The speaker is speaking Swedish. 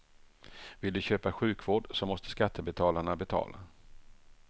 Vill de köpa sjukvård så måste skattebetalarna betala.